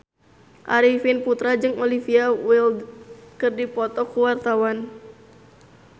Arifin Putra jeung Olivia Wilde keur dipoto ku wartawan